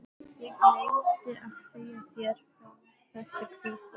Ég gleymdi að segja þér frá þessu hvíslaði